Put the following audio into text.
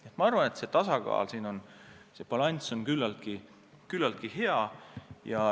Nii et minu arvates see tasakaal, see balanss on küllaltki hea.